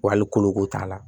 Wa hali koloko t'a la